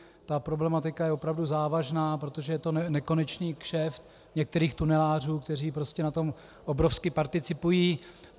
Ta problematika je opravdu závažná, protože je to nekonečný kšeft některých tunelářů, kteří prostě na tom obrovsky participují.